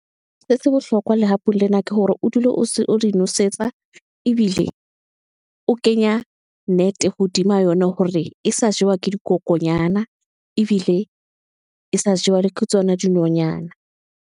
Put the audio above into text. Se bohlokwa lehapu lena, ke hore o dule o se o di nosetsa, ebile o kenya net hodima yona, hore e sa jewa ke dikokonyana, ebile e sa jewa le ke tsona dinonyana.